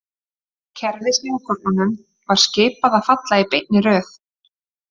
Kerfi Snjókornunum var skipað að falla í beinni röð.